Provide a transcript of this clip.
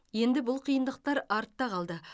енді бұл қиындықтар артта қалды